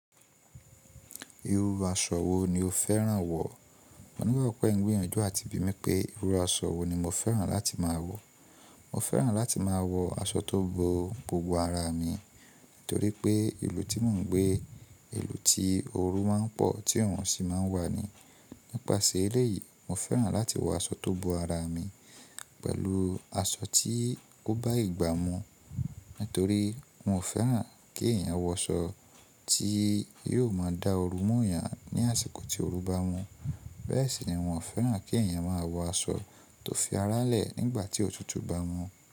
Iru aṣọ wo ni o fẹ́ràn wọ̀? Mo lérò pé ẹ̀ n tbìyànjú àti bí mi pé iru aṣọ wo ni mo fẹ́ràn láti máa wọ̀. Mo fẹ́ràn láti máa wọ aṣọ tó bo gbogbo ara mi, nítorí pé ìlú tí mò ń gbé, ìlú tí ooru máa ń pọ̀ tí òòrùn sì máa ń wà ni. Nípasẹ̀ eléyìí, mo fẹ́ràn láti wọ aṣọ tó bo ara mi pẹ̀lú aṣọ tí ó bá ìgbà mu. Nítorí mi ò fẹ́ràn kí èèyàn wọ aṣọ tí yóò máa da ooru mú ẹ̀yàn ní àsìkò tí ooru bá mu. Bẹ́ẹ̀ sì ni wọn ò fẹ́ràn kí èèyàn máa wọ aṣọ tó fi ara lẹ̀ nígbà tí òtútù bá mu.